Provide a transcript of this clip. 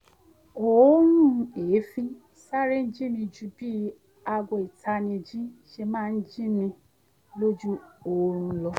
òórùn èéfín sáré jí mi ju bí aago ìtanijí ṣe máa ń jí mi lójú oorun lọ